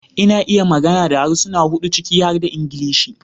Ina iya magana da harsuna hudu ciki har da Ingilishi